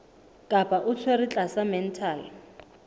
kapa o tshwerwe tlasa mental